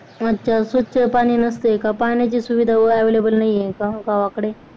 अच्छा स्वच्छ पाणी नसतंय का पाण्याची सुविधा available नाहीये का गावाकडे